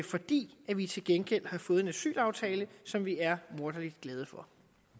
fordi vi til gengæld har fået en asylaftale som vi er morderlig glade for